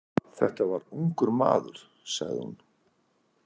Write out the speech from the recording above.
Þetta var ungur maður, sagði hún.